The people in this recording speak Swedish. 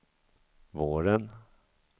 våren